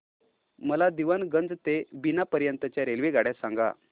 मला दीवाणगंज ते बिना पर्यंत च्या रेल्वेगाड्या सांगा